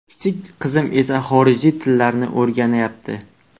Kichik qizim esa xorij tillarini o‘rganayapti.